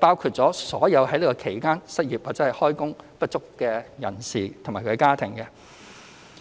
包括了所有在此期間失業或開工不足的人士及其家庭。